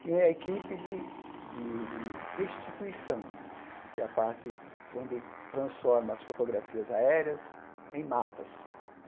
tinha a equipe de de de restituição, que é a parte onde transforma as fotografias aéreas em mapas.